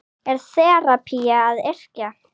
Er þerapía að yrkja?